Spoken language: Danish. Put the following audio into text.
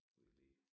Skal vi lige